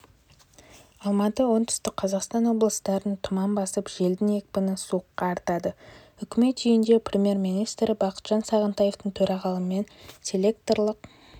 алматы оңтүстік қазақстан облыстарынтұман басып желдің екпіні с-қа артады үкімет үйінде премьер-министрі бақытжан сағынтаевтың төрағалығымен селекторлық